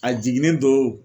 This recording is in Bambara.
A jiginnen do o